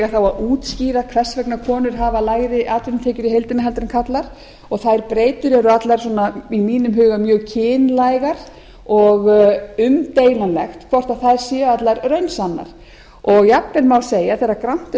þá að útskýra hvers vegna konur hafa lægri atvinnutekjur í heildina en karlar þær breytur eru allar svona í mínum huga mjög kynlægar og umdeilanlegt hvort þær séu allar raunsannar jafnvel má segja þegar grannt er